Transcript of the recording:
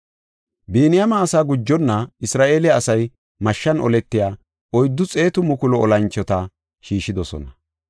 Biniyaame asaa gujonna, Isra7eele asay mashshan oletiya 400,000 olanchota shiishidosona.